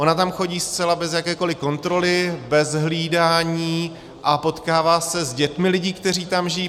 Ona tam chodí zcela bez jakékoli kontroly, bez hlídání, a potkává se s dětmi lidí, kteří tam žijí.